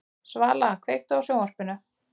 Svala, kveiktu á sjónvarpinu.